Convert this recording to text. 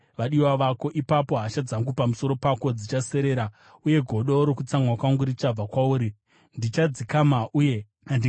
Ipapo hasha dzangu pamusoro pako dzichaserera uye godo rokutsamwa kwangu richabva kwauri; ndichadzikama uye handingatsamwizve.